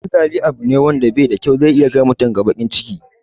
Cin zali abu ne wanda bashi da kyau, zai iya kai mutum baƙin ciki